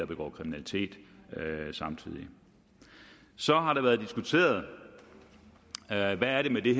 begår kriminalitet samtidig så har det været diskuteret hvad der er med det